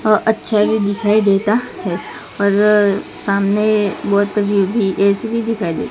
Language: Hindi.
अ अच्छा भी दिखाई देता है और सामने बहोत भी ए_सी भी दिखाई दे--